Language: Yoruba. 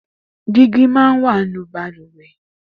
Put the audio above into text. Dìgí má n wà ninú bàlùwẹ̀